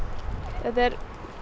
þetta er